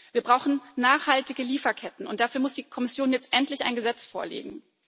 Wir brauchen nachhaltige Lieferketten, und dafür muss die Kommission jetzt endlich ein Gesetz vorlegen.